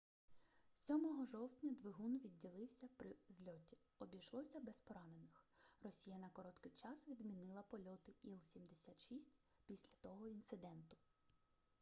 7 жовтня двигун відділився при зльоті обійшлося без поранених росія на короткий час відмінила польоти іл-76 після того інциденту